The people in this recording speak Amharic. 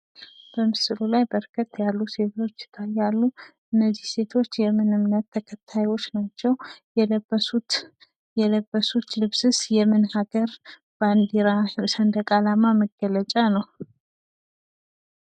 በምስሉ ላይ በርከት ያሉ ሴቶች ይታያሉ። እነዚህ ሴቶች እምነት ተከታዮች ናቸው። የለበሱት ልብስስ የምን ሀገር ባንዲራ / ሰንደቅ አላማ መገለጫ ነው?